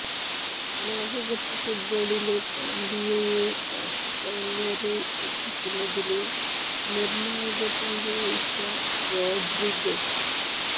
ലോകകപ്പ് ഫുട്ബോളില് കൊളംബിയയെ ക്വാര്ട്ടര്ഫൈനല്വരെ എത്തിക്കുന്നതില് നിര്ണായക പങ്കു വഹിച്ച റോഡ്രിഗസ്